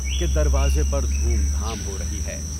کہ دروازے پر دھوم دھام ہو رہی ہے۔